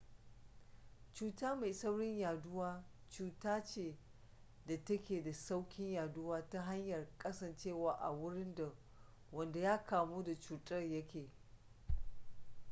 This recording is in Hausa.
cuta mai saurin yaɗuwa cuta ce da ta ke da sauƙin yaduwa ta hanyar kasancewa a wurin da wanda ya kamu da cutar ya ke